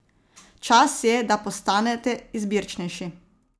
Čas je, da postanete izbirčnejši.